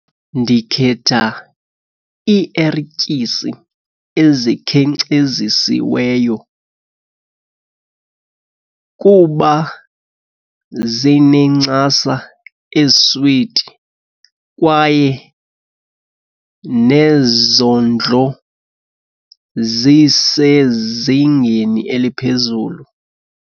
Ndikhetha iierityisi ezikhenkcezisiweyo kuba zinencasa eziswiti kwaye nezondlo zisezingeni eliphezulu.